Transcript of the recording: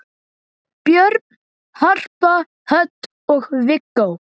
Börn: Harpa Hödd og Viggó.